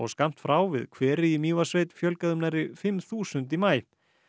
skammt frá við hveri í Mývatnssveit fjölgaði um nærri fimm þúsund í maí